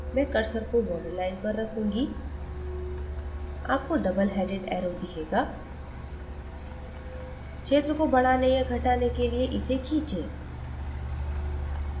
मैं cursor को borderline पर रखूँगी आपको double headed arrow दिखेगा क्षेत्र को बढ़ाने या घटाने के लिए इसे खींचे